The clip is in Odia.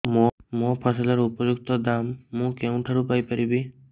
ମୋ ଫସଲର ଉପଯୁକ୍ତ ଦାମ୍ ମୁଁ କେଉଁଠାରୁ ପାଇ ପାରିବି